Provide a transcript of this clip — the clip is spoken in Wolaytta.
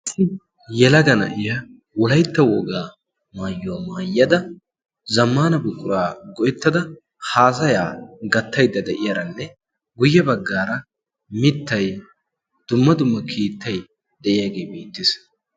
yelaga na'iya wulaytta wogaa maayyuwaa maayyada zammaana buquraa go''ettada haasayaa gattaidda de'iyaaranne guyye baggaara mittay dumma dumma kiittay de'iyaagee beettees